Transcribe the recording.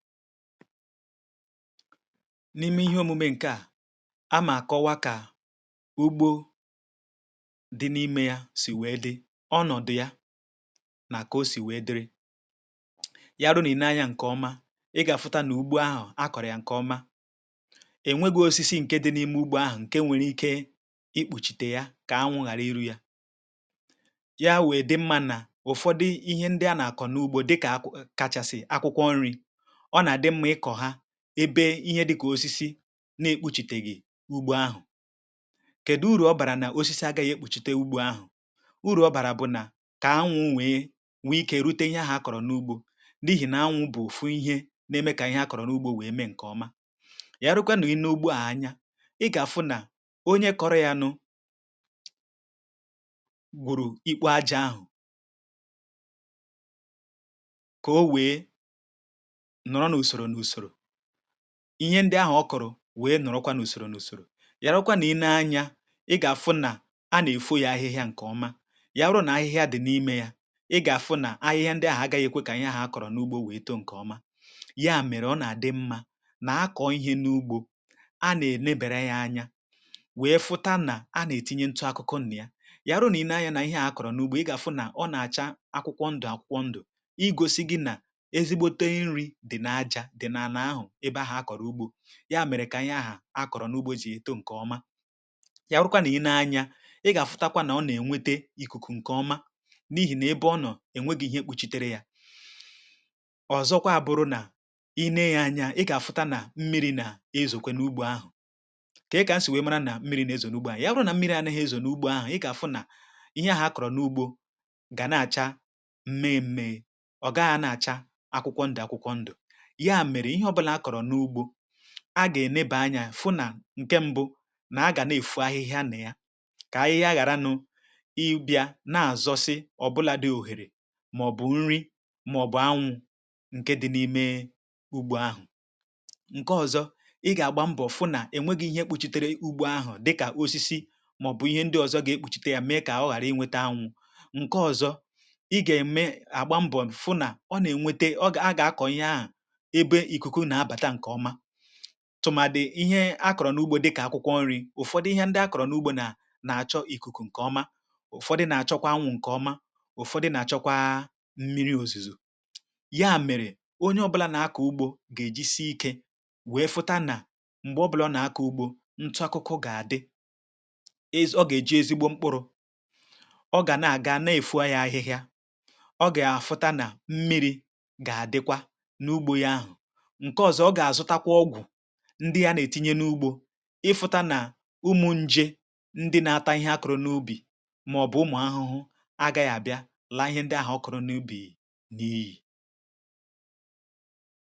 N’ime ihe omume a, a maara kọwaa ka ugbo dị n’ime ya si wee dị, ọnọdu ya na aka o si wee dịrị ya ruo na ị na-ele anya. Nke ọma ị ga-afụta na ugbo ahụ a kọọrọ ya nke ọma, enweghi osisi nke dị n’ime ugbo ahụ nke nwere ike ikpuchite ya ka anwụ ghara iru ya. Ya mere, o dị mma na ụfọdụ ihe ndị a na-akọ n’ugbo dị ka akwụkwọ kacha esi, akwụkwọ nri, ebe ihe dịka osisi na-ekpuchiteghị ugbo ahụ. Kedu uru ọ bara na osisi agaghị ekpuchite ugbo ahụ? Uru ọ bara bụ na ka anwụ onwe ya nwee ike iru ihe ahụ a kọọrọ n’ugbo dị, n’ihi na anwụ n’ugbo ọfụ, ihe na-eme ka ihe a kọọrọ n’ugbo wee mee nke ọma. Ya rụkwa na i lee anya, ị ga-ahụ na onye kọọrọ ya nụrụ gwụrụ ikpo aja ahụ, ihe ndị ahụ ọ kọọrọ wee nọrọkwa n’usoro n’usoro. Ya rụkwa na i lee anya, ị ga-ahụ na a na-efo ya ahịhịa nke ọma. Ya rụọ na ahịhịa dị n’ime ya, ị ga-ahụ na ahịhịa ndị ahụ agaghị ekwe ka ihe ahụ a kọọrọ n’ugbo wee too nke ọma. Ya mere, ọ na-adị mma na ihe a kọọrọ n’ugbo a na-emebere ya anya. Wee hụ na a na-etinye ntụaka akụkụ n’ime ya. Ya bụ, na i lee anya, ihe ahụ a kọọrọ n’ugbo, ị ga-ahụ na ọ na-acha akwụkwọ ndụ akwụkwọ ndụ. Nke a na-egosi gị na ebe ahụ a kọọrọ ugbo ya mere ka ihe ahụ a kọọrọ n’ugbo dị eto nke ọma. Ya bụkwa, na i lee anya, ị ga-aghọta na ọ na-enweta ikuku nke ọma, n’ihi na ebe ọ nọ enweghi ihe kpuchitere ya. Ọzọkwa, ọbụ̀rụ̀ na i lee ya anya, ị ga-ahụta na mmiri na-ezokwe n’ugbo ahụ. Ka i si wee mara na mmiri na-ezọ n’ugbo ahụ? Ya bụ̀ na mmiri a na-ezọ n’ugbo ahụ, ị ga-ahụ na ihe ahụ a kọọrọ n’ugbo ga na-acha mee mee. Ọ ga-acha akwụkwọ ndụ akwụkwọ ndụ. A ga-enebe anya hụ na nke mbụ, na aga na-efu ahịhịa na ya ka ahịhịa ghara ịbịa na-azụsi ọ bụla dị ọzọ, ma ọ bụ nri, ma ọ bụ anwụ nke dị n’ime ugbo ahụ. Nke ọzọ, ị ga-agba mbọ hụ na enweghi ihe ekpuchitere ugbo ahụ dịka osisi ma ọ bụ ihe ndị ọzọ ga-ekpuchite ya, mee ka ọ ghara inweta anwụ. Nke ọzọ, ị ga-eme agaghị agaghị mbọ hụ na ọ na-enweta, ọ ga-akọ ya. A tụmadị ihe a kọọrọ n’ugbo dịka akwụkwọ nri, ụfọdụ ihe ndị a kọọrọ n’ugbo na-achọ ikuku nke ọma, ụfọdụ na-achọkwa anwụ nke ọma, ụfọdụ na-achọkwa mmiri ozuzo. Ya mere, onye ọ bụla na-akọ ugbo ga-eji si ike wee hụ na mgbe ọ bụla na-akọ ugbo: ntu akụkụ ga-adị, ọ ga-eji ezigbo mkpụrụ, ọ ga na-aga na-efu ahịhịa, ọ ga-afụta na mmiri ga-adịkwa n’ugbo ya. Ihe ndị a na-etinye n’ugbo, ị hụ̀ta na ụmụ nje ndị na-ata ihe a kụrụ n’ubì ma ọ bụ ụmụ ahụhụ, a ga ya bịara laa ihe ndị ahụ ọ kụrụ n’ubì n’iyi.